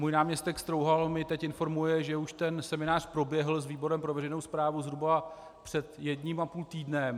Můj náměstek Strouhal mě teď informuje, že už ten seminář proběhl s výborem pro veřejnou správu zhruba před jedním a půl týdnem.